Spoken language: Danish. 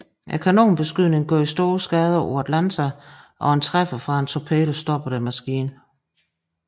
Kanonbeskydningen gjorde store skader på Atlanta og en træffer fra en torpedo stoppede maskinen